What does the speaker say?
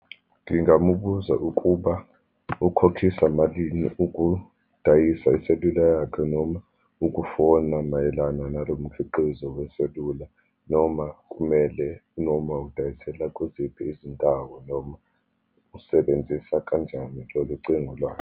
Ngingamubuza ukuba ukhokhisa malini ukudayisa iselula yakhe, noma ukufona mayelana nalo mkhiqizo weselula, noma kumele, noma udayisela kuziphi izindawo, noma usebenzisa kanjani lolucingo lwakhe.